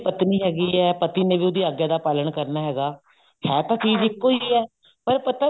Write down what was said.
ਪਤਨੀ ਹੈਗੀ ਹੈ ਪਤੀ ਨੇ ਉਹਦੀ ਆਗਿਆ ਦਾ ਪਾਲਣ ਕਰਨਾ ਹੈਗਾ ਆਹ ਤਾਂ ਚੀਜ ਇੱਕੋ ਹੀ ਹੈ ਪਰ ਪਤਾ ਨੀ